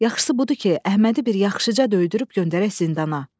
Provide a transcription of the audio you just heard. Yaxşısı budur ki, Əhmədi bir yaxşıca döydürüb göndərək zindana.